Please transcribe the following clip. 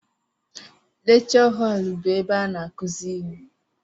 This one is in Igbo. Lekchọ họl bụ ebe a n'akụzi ihe.